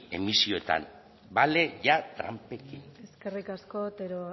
emisioetan bale ja tranpekin eskerrik asko otero